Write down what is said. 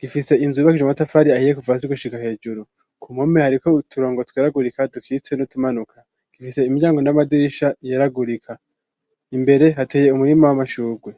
gifise inzu yubakishije amatafari ahiye kuvasi gushiga hejuru ku mpome hariko uturongo tweragurika dukitse n'utumanuka gifise imiryango n'amadirisha yeragurika imbere hateye umurima w'amashugwe.